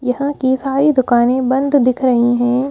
यहां की सारी दुकानें बंद दिख रही हैं ।